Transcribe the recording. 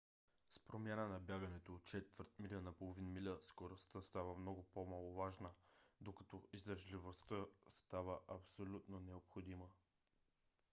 с промяна на бягането от четвърт миля на половин миля скоростта става много по-маловажна докато издръжливостта става абсолютно необходима